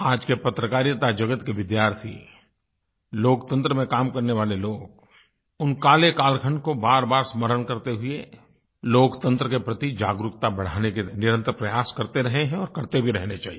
आज के पत्रकारिता जगत के विद्यार्थी लोकतंत्र में काम करने वाले लोग उस काले कालखंड को बारबार स्मरण करते हुए लोकतंत्र के प्रति जागरूकता बढ़ाने के लिए निरंतर प्रयास करते रहे हैं और करते भी रहने चाहिए